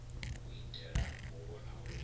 u itela u vhona uri